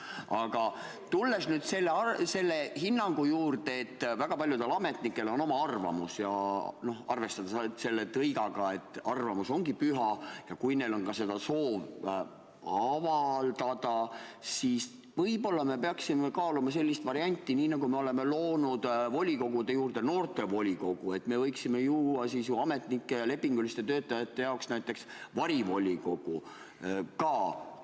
Aga tulles nüüd selle hinnangu juurde, et väga paljudel ametnikel on oma arvamus, ja arvestades seda tõika, et arvamus ongi püha ja kui neil on ka soov seda avaldada, siis võib-olla me peaksime kaaluma sellist varianti, et nii nagu me oleme loonud volikogude juurde noortevolikogu, me võiksime ju luua ametnike ja lepinguliste töötajate jaoks varivolikogu ka.